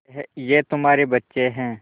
ये तुम्हारे बच्चे हैं